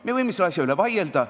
Me võime selle asja üle vaielda.